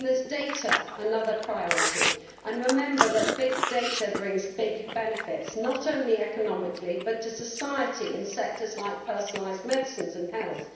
Data are another priority, and remember that big data bring big benefits, not only economically, but to society in sectors like personalised medicines and health.